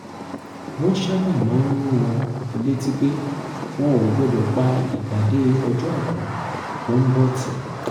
wọ́n sábà máa ń rán wọn létí pé wọn ò gbọ́dọ̀ pa ìpàdé ọjọ́ àikú tó ń bọ̀ tì